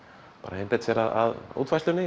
einbeitt sér að útfærslunni